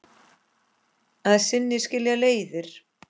Að sinni skilja leiðir.